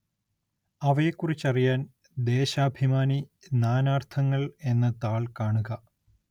അവയെക്കുറിച്ചറിയാന്‍ ദേശാഭിമാനി നാനാര്‍ത്ഥങ്ങള്‍ എന്ന താള്‍ കാണുക